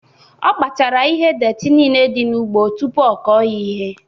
O Kpochara ihe detị nile dị n'ugbo tụpụ ọ kọọ ya ihe